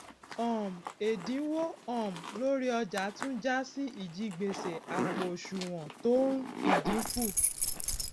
um èdínwó um lórí ọjà tún jásí ìjigbèsè àpò òṣùwòn tó n ldínkù